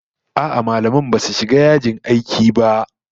A'a, mallaman basu shiga yajin aiki ba